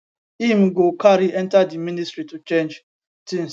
im go carry enta di ministry to change tins